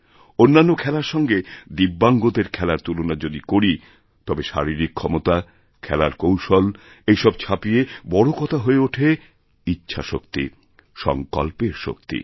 অন্যান্য খেলার সঙ্গে দিব্যাঙ্গদের খেলার তুলনা যদি করি তবে শারীরিকক্ষমতা খেলার কৌশল এই সব ছাপিয়ে বড় কথা হয়ে ওঠে ইচ্ছা শক্তি সঙ্কল্পের শক্তি